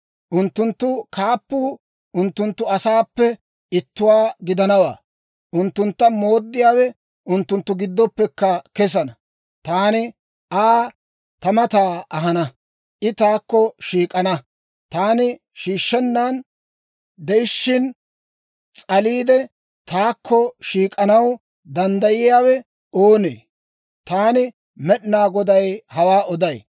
Unttunttu kaappuu unttunttu asaappe ittuwaa gidanawaa; unttuntta mooddiyaawe unttunttu giddoppe kesana. Taani Aa ta mata ahana; I taakko shiik'ana. Taani shiishshennan de'ishiina, s'aliide taakko shiik'anaw danddayiyaawe oonee? Taani Med'inaa Goday hawaa oday.